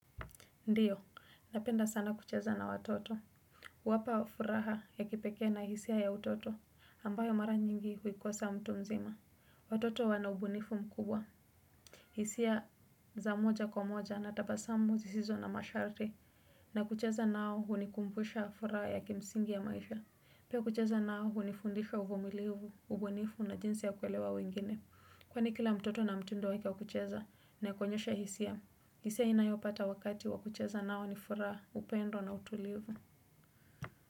Ndiyo, napenda sana kucheza na watoto. Wapa furaha ya kipekee na hisia ya utoto, ambayo mara nyingi huikosa mtu mzima. Watoto wanaubunifu mkubwa. Hisia za moja kwa moja na tabasamu zisizo na masharti. Na kucheza nao hunikumpusha furaha ya kimsingi ya maisha. Pia kucheza nao hunifundisha uvumilivu, ubunifu na jinsi ya kuelewa wengine. Kwani kila mtoto na mtindo waka kucheza na kuonyesha hisia. Hisa inayopata wakati wakucheza nao ni furaha upendo na utulivu.